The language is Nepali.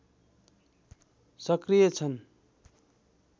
सक्रिय छन्